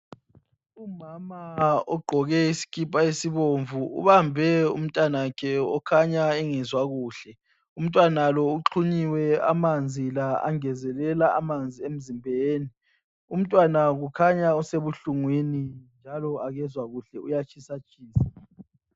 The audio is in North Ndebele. Umama ogqoke isikipa esibomvu ubambe umntanakhe okhanya engezwa kuhle. Umntwana lo uxhunyiwe amanzi la angezelela amanzi emzimbeni. Umntwana kukhanya usebuhlungwini njalo akezwa kahle uyatshisatshisa.